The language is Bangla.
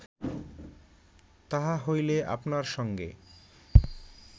তাহা হইলে আপনার সঙ্গে